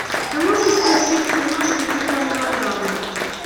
ты можешь включить киношку типа мелодраму